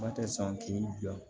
Ma tɛ san k'i bila